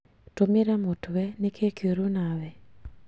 Tũmĩra mũtwe nĩkĩĩ kĩuru nawe